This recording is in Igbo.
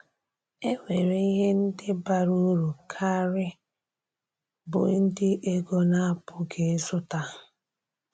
É nwèré ihe ndị bàrà ụ̀rù kárị bụ́ ndị égo na-apụghị ịzụta.